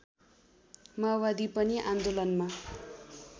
माओवादी पनि आन्दोलनमा